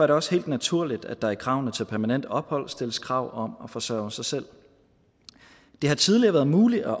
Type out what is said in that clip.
det også helt naturligt at der i kravene til permanent ophold stilles krav om at forsørge sig selv det har tidligere været muligt at